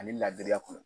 Ani laadiriya kɔnɔ